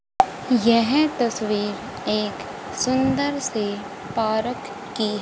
यह तस्वीर एक सुंदर सी पारक की--